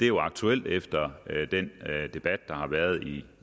jo aktuelt efter den debat der har været i